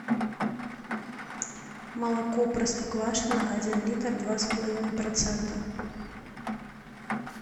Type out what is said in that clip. молоко простоквашино один литр два с половиной процента